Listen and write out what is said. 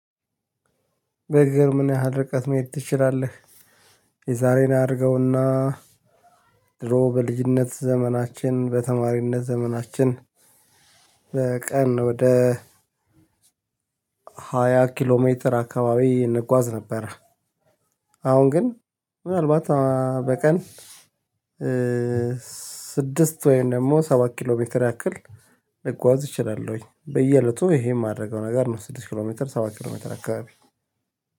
በእግርህ ምን ያህል ርቀት መሄድ ትችላለህ? የዛሬን አያድርገውና ድሮ በልጅነት ዘመናችን በተማሪነት ዘመናችን በቀን ወደ ሃያ ኪሎ ሜትር አካባቢ እንጓዝ ነበር። አሁን ግን ምናልባት በቀን ስድስት ወይም ደግሞ ሰባት ኪሎ ሜትር ያክል እጓዝ እችላለሁኝ በየእለቱ ይሄ የማደርገው ነገር ነው። ስድስት ኪሎ ሜትር ሰባት ኪሎ ሜትር አካባቢ